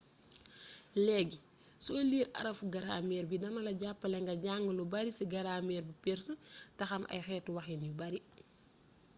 leegi soy liir aaraffu grameer bii dinala jappalé nga jàng lou bari ci grameer bu perse té xam ay xeetu waxin yu bari